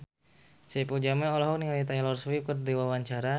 Saipul Jamil olohok ningali Taylor Swift keur diwawancara